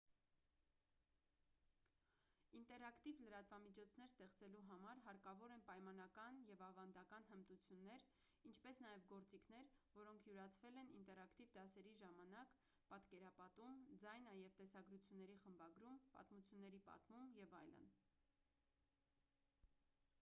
ինտերակտիվ լրատվամիջոցներ ստեղծելու համար հարկավոր են պայմանական և ավանդական հմտություններ ինչպես նաև գործիքներ որոնք յուրացվել են ինտերակտիվ դասերի ժամանակ պատկերապատում ձայնա և տեսագրությունների խմբագրում պատմությունների պատմում և այլն: